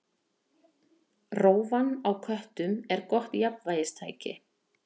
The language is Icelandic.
Rófan á köttum er gott jafnvægistæki.